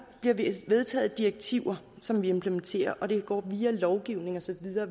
bliver vedtaget direktiver som vi implementerer og det går via lovgivning og så videre